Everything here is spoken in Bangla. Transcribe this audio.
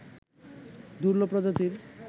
দুর্লভ প্রজাতির